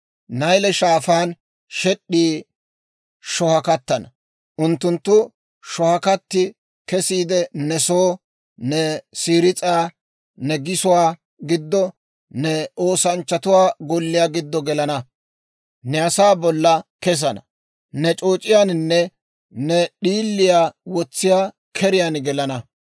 Nayle Shaafaan shed'd'ii shohakkattana. Unttunttu shohakkatti kesiide ne soo, ne siris'aa, ne gisuwaa giddo, ne oosanchchatuwaa golliyaa giddo gelana; ne asaa bolla kesana; ne c'ooc'iyaanne ne d'iiliyaa wotsiyaa keriyaan gelana.